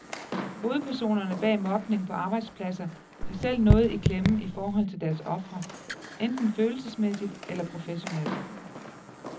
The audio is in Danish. Hovedpersonerne bag mobning på arbejdspladser har selv noget i klemme i forhold til deres ofre, enten følelsesmæssigt eller professionelt.